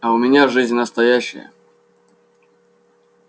а у меня жизнь настоящая